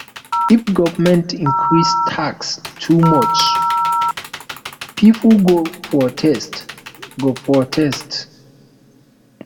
if government increase tax too much pipo go protest go protest